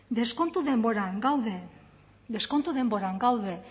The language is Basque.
deskontu denboran gaude deskontu denboran gaude